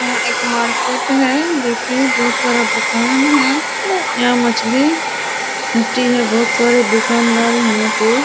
यह एक मार्केट है जो की बहुत सारा दुकान है यहाँ मछली बिकती है बहुत सारे दूकानदार हैं यहाँ पे।